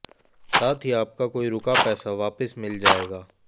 साथ ही आपका कोई रुका पैसा वापस मिल जाएगा